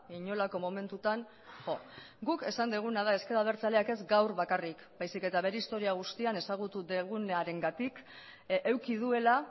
inolako momentuetan jo guk esan duguna da ezker abertzaleak ez gaur bakarrik baizik eta bere historia guztian ezagutu dugunarengatik eduki duela